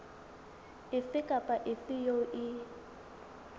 efe kapa efe eo e